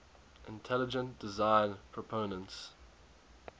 intelligent design proponents